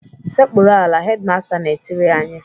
"Sekpuru ala!" Hedimasta na-etiri anyị.